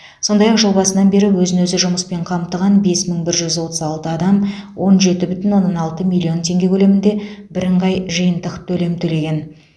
сондай ақ жыл басынан бері өзін өзі жұмыспен қамтыған бес мың бір жүз отыз алты адам он жеті бүтін оннан алты миллион теңге көлемінде бірыңғай жиынтық төлем төлеген